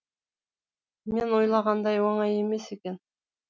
мен ойлағандай оңай емес екен